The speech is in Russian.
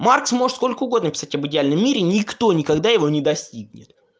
маркс может сколько угодно писать об идеальном мире никто никогда его не достигнет